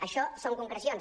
això són concrecions